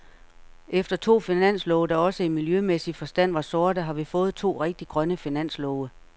Efter to finanslove, der også i miljømæssig forstand var sorte, har vi fået to rigtig grønne finanslove.